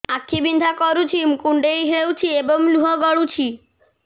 ଆଖି ବିନ୍ଧା କରୁଛି କୁଣ୍ଡେଇ ହେଉଛି ଏବଂ ଲୁହ ଗଳୁଛି